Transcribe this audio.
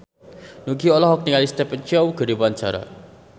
Nugie olohok ningali Stephen Chow keur diwawancara